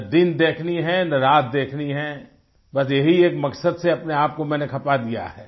न दिन देखनी है न रात देखनी है बस यही एक मकसद से अपने आप को मैंने खपा दिया है